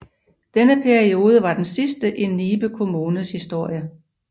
Denne periode var den sidste i Nibe Kommunes historie